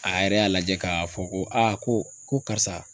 A yɛrɛ y'a lajɛ ka fɔ ko a ko ko karisa